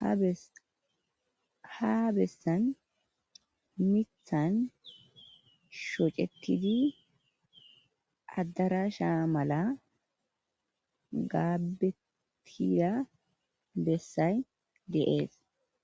ha bessan mithan shocetidi addarasha mala gaabetida bessay de'es